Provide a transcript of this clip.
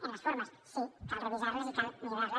en les formes sí cal revisar les i cal millorar les